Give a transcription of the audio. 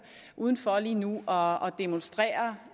udenfor lige nu og demonstrerer